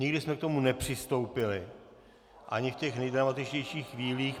Nikdy jsme k tomu nepřistoupili, ani v těch nejdramatičtějších chvílích.